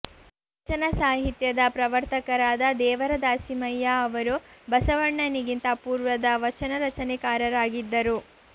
ವಚನ ಸಾಹಿತ್ಯದ ಪ್ರವರ್ತಕರಾದ ದೇವರ ದಾಸಿಮಯ್ಯ ಅವರು ಬಸವಣ್ಣ ನಿಗಿಂತ ಪೂರ್ವದ ವಚನ ರಚನೆಕಾರರಾ ಗಿದ್ದರು